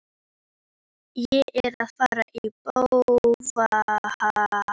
Gretar, hvað geturðu sagt mér um veðrið?